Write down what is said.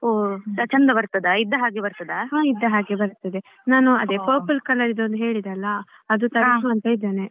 ಹಾ ಇದ್ದ ಹಾಗೆ ಬರ್ತದೆ ನಾನು ಅದೇ purple colour ಒಂದ್ ಹೇಳಿದ್ದೆ ಅಲ್ಲಾ ಅದು ಒಂದ್ ತರಿಸುವಾ ಅಂತ ಇದ್ದೇನೆ .